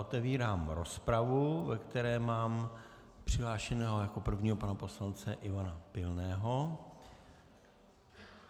Otevírám rozpravu, do které mám přihlášeného jako prvního pana poslance Ivana Pilného.